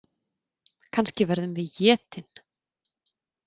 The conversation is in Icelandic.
Kannski verðum við étin.